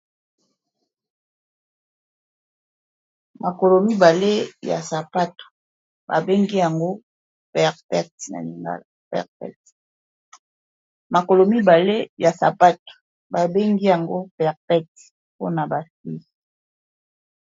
makolo mbale ya sapato babengi yango perpect mpona bafi